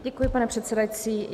Děkuji, pane předsedající.